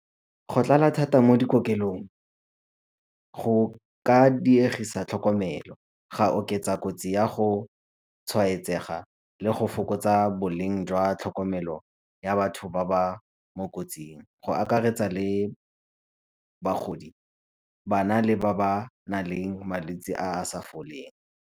Go tlala thata mo dikokelong go ka dirisa tlhokomelo, ga oketsa kotsi ya go tshwaetsega le go fokotsa boleng jwa tlhokomelo ya batho ba ba mo kotsing. Go akaretsa le bagodi, bana le ba ba nang le malwetsi a a sa foleng.